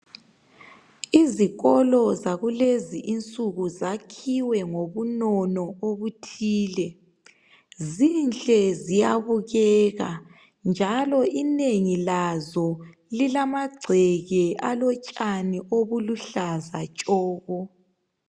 Izikolo zakulenzinsuku zakhiwe ngobunono obuthile zinhle ziyabukeka njalo inengi lazo zilamagceke alotshani oluluhlaza tshoko